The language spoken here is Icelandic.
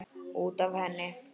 Út af henni!